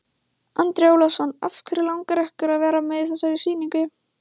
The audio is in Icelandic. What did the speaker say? Andri Ólafsson: Af hverju langar ykkur að vera með í þessari sýningu?